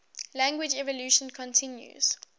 language evolution continues